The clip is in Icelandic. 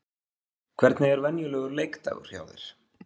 Hvernig er venjulegur leikdagur hjá þér?